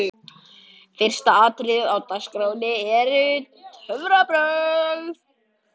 Fyrsta atriðið á DAGSKRÁNNI eru töfrabrögð.